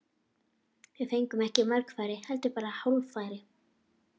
Við fengum ekki mörg færi, heldur bara hálffæri.